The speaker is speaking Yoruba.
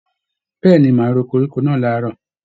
Bẹ̀ẹ́ni, máa ro koríko náà làárọ̀.